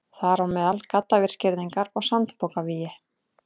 Þar á meðal gaddavírsgirðingar og sandpokavígi.